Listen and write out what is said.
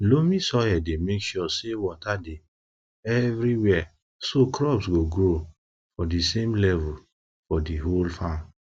loamy soil dey make sure say water dey everywhere so crops go grow for di same level for di whole farm